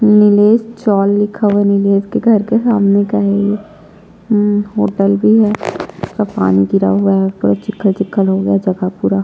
नीलेश चौल लिखा हुआ नीलेश के घर का सामने का है ये हम्म होटल भी है पानी गिरा हुआ है पूरा चिखखल चिखखल हो गया जगह पूरा--